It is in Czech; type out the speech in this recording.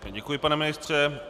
Děkuji, pane ministře.